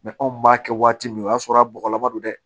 anw b'a kɛ waati min o y'a sɔrɔ a bɔgɔlama don dɛ